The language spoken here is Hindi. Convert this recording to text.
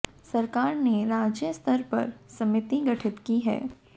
सरकार ने राज्य स्तर पर समिति गठित की है